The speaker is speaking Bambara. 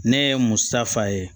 Ne ye musa fa ye